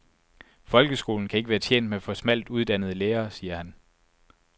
Folkeskolen kan ikke være tjent med for smalt uddannede lærere, siger han.